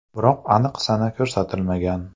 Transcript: Biroq aniq sana ko‘rsatilmagan.